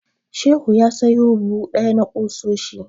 Shehu ya sayo buhu ɗaya na ƙusoshi.